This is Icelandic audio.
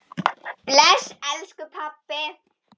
Bless elsku pabbi.